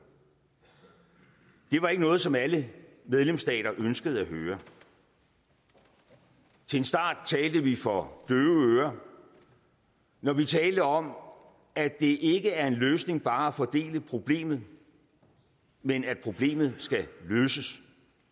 det var ikke noget som alle medlemsstater ønskede at høre til en start talte vi for døve øren når vi talte om at det ikke er en løsning bare at fordele problemet men at problemet skal løses